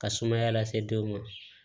Ka sumaya lase denw ma